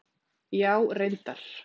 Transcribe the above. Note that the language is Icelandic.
Já, reyndar.